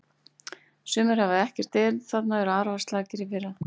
Sumar hafa ekkert erindi þarna og voru arfaslakar í fyrra.